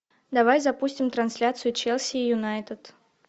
давай запустим трансляцию челси и юнайтед